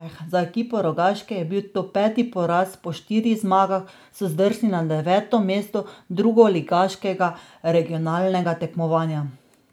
Za ekipo Rogaške je bil to peti poraz, po štirih zmagah so zdrsnili na deveto mesto drugoligaškega regionalnega tekmovanja.